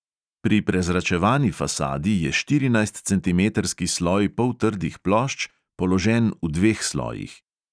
Pri prezračevani fasadi je štirinajstcentimetrski sloj poltrdih plošč položen v dveh slojih.